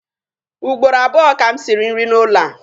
Ugboro abụọ ka m siri nri n'ụlọ a.